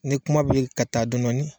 Ni kuma bɛ ka taa dɔni dɔni